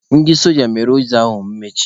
Ndị soja mere ụzọ ahụ mkpochi.